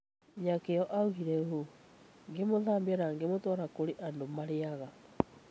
Nyakeo oigire ũũ: "Ngĩmũthambia na ngĩmũtwara kũrĩa andũ marĩĩaga.